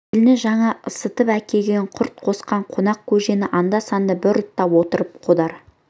келіні жаңа ысытып әкелген құрт қосқан қонақ көжені анда-санда бір ұрттап отырып қодар